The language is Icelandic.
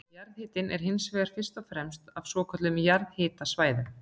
jarðhitinn er hins vegar fyrst og fremst á svokölluðum jarðhitasvæðum